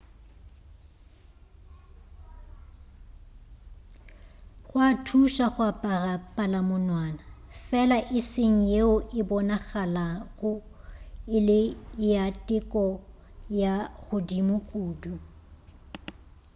go a thuša go apara palamonwana fela e seng yeo e bonagalago e le ya teko ya godimo kudu